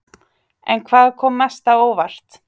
En hvað kom mest á óvart?